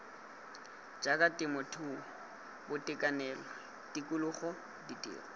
jaaka temothuo boitekanelo tikologo ditiro